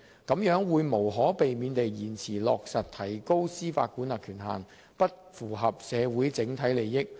這樣會無可避免地延遲落實提高司法管轄權限，不符合社會整體利益。